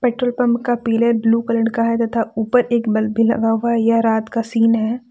Petrol pump का पीले blue colour का है तथा ऊपर एक बल्ब भी लगा हुआ है यह रात का सीन है।